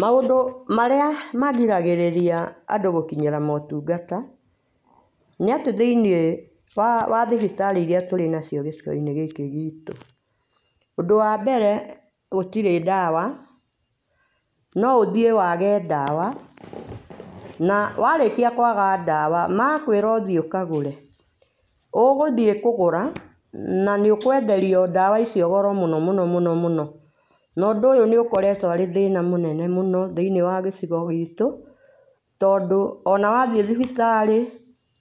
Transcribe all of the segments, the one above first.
Maũndũ marĩa magĩragĩrĩria andũ gũkinyĩra ũtũngata , nĩ atĩ thĩinĩ wa thibitarĩ irĩa tũrĩ nacio gĩcigo inĩ gĩkĩ gitũ, ũndũ wambere gũtĩrĩ dawa no ũthiĩ wage dawa na warĩkĩaga dawa magũkwĩra ũthiĩ ũkagũre ũgũthiĩ kũgũra na ũkwenderio dawa icio goro mũno mũno mũno na ũndũ ũyũ nĩ ũkoretwoarĩ thĩna mũnene mũno thĩinĩ wa gĩcigo gitũ, tondũ ona wathiĩ thibitarĩ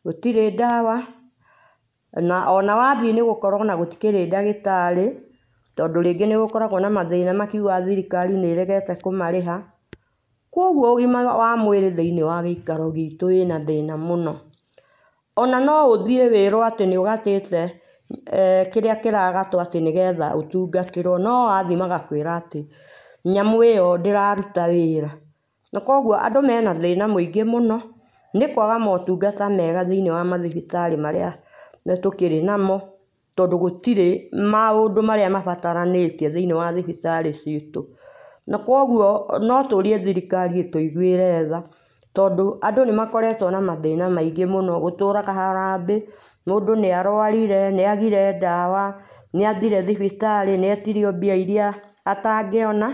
gũtĩrĩ dawa na uona wathiĩ nĩũgiũkora gũtĩkĩrĩ ndagĩtarĩ tondũ rĩngĩ nĩgũgĩkoragwo na mthĩna nĩmakĩũgaga thirĩkari nĩ ĩregete kũmarĩha kũogũo ũgĩma mwega wa mwĩrĩ thĩinĩ wa gĩikaro gitũ wĩna thĩna mũno ona noũthiĩ wĩrwo atĩ nĩũgate kĩrĩa kĩragatwo atĩ nĩgetha ũtũngatĩrwo no wathiĩ magakwĩra atĩ nyamũ ĩyo ndĩrarũta wĩra na kũogũo andũ mena thĩna ũmwe mũingĩ mũno nĩkwaga maũtũngata mega thĩinĩ wa mathibitari marĩa tũkĩrĩ namo tondũ gũtirĩ maũndũ marĩa mabataranĩtie thĩinĩ wa thibitarĩ citũ nakũogũo no tũrie thirikari ĩtũigũĩre tha tondũ andũ nĩmakoretwo na mathĩna maingĩ mũno gũtũraga harambĩ mũndũ nĩarwarĩre nĩagire dawa nĩathĩre thibitarĩ nĩetirio mbia irĩa atangĩona.